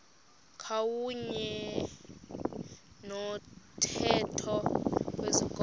kwakuyne nomthetho wezikolo